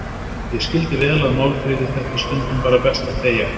Ég skildi vel að Málfríði þætti stundum bara best að þegja.